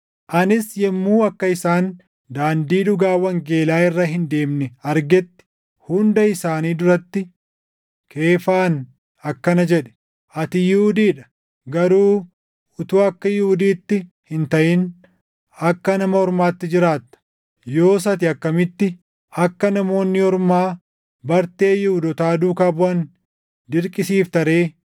Anis yommuu akka isaan daandii dhugaa wangeelaa irra hin deemne argetti hunda isaanii duratti Keefaan akkana jedhe; “Ati Yihuudii dha; garuu utuu akka Yihuudiitti hin taʼin akka Nama Ormaatti jiraatta; yoos ati akkamitti akka Namoonni Ormaa bartee Yihuudootaa duukaa buʼan dirqisiifta ree?